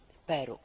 Peru.